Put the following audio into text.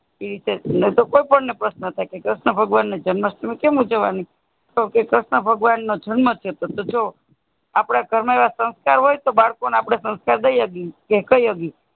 કોઈ પણ ને પ્રષ્ન થાઈ કર્ષ્ણ ભગવાન જન્મ સમય કેમ ઉજવાનું કર્ષ્ણ ભગવાન જન્મ છે તો જો આપણા ઘર માં એવા સંસ્કાર હોય બાળકો ને આપણે સંસ્કાર દઈ સકેય કે કઈ શકે.